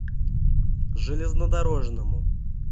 железнодорожному